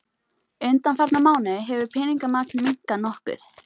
Undanfarna mánuði hefur peningamagn minnkað nokkuð